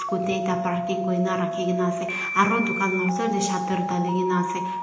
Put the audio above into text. scooty ekta parking kurina rakhina ase aru dukan la osor tae shutter dalikae naase.